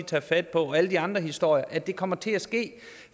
tager fat på og alle de andre historier at det kommer til at ske